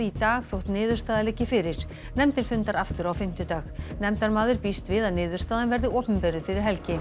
í dag þó niðurstaða liggi fyrir nefndin fundar aftur á fimmtudag nefndarmaður býst við að niðurstaðan verði opinberuð fyrir helgi